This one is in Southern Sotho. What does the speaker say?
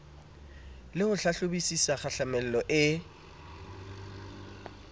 le ho hlahlobisisa kgahlamelo e